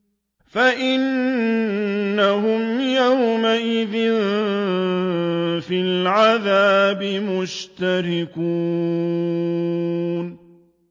فَإِنَّهُمْ يَوْمَئِذٍ فِي الْعَذَابِ مُشْتَرِكُونَ